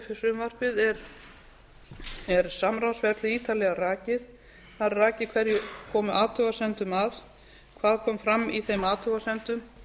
frumvarpið er samráðsferli ítarlega rakið þar er rakið hverjir komu athugasemdum að hvað kom fram í þeim athugasemdum